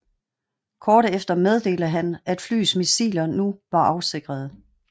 Kort efter meddelte han at flyets missiler nu var afsikrede